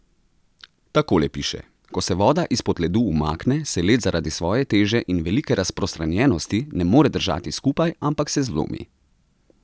Takole piše: 'Ko se voda izpod ledu umakne, se led zaradi svoje teže in velike razprostranjenosti ne more držati skupaj, ampak se zlomi.